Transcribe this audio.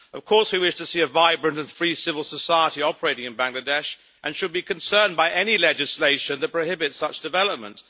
Of course, we wish to see a vibrant and free civil society operating in Bangladesh, and should be concerned by any legislation that prohibits such development.